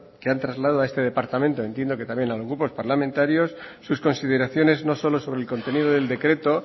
que han trasladado a este departamento entiendo que también a los grupos parlamentarios sus consideraciones no solo sobre el contenido del decreto